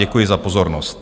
Děkuji za pozornost.